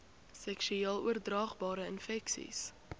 seksueel oordraagbare infeksies